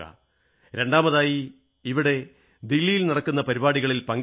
രണ്ടാമതായി ഇവിടെ ദില്ലിയിൽ നടക്കുന്ന പരിപാടികൾ പങ്കെടുക്കുക